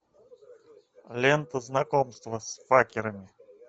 лента знакомство с факерами